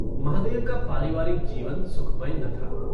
महादेव का पारिवारिक जीवन सुखमय न था।